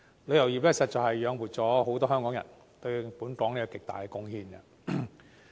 旅遊業實在養活了很多香港人，對本港作出極大貢獻。